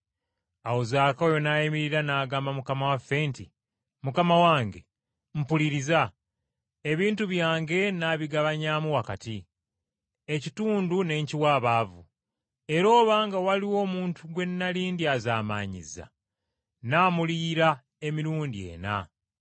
Awo Zaakayo n’ayimirira n’agamba Mukama waffe nti, “Mukama wange! Mpuliriza! Ebintu byange nnaabigabanyaamu wakati, ekitundu ne nkiwa abaavu; era obanga waliwo omuntu gwe nnali ndyazaamaanyizza, nnaamuliyira emirundi ena.”